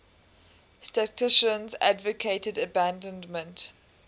statisticians advocated abandonment